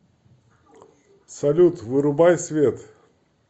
салют вырубай свет